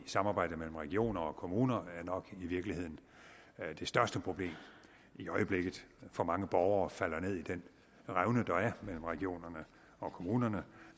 samarbejde mellem regioner og kommuner er nok i virkeligheden det største problem i øjeblikket for mange borgere falder ned i den revne der er mellem regionerne og kommunerne og